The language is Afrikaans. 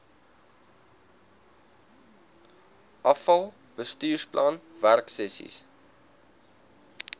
afal bestuursplan werksessies